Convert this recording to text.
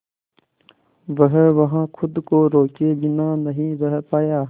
वह वहां खुद को रोके बिना नहीं रह पाया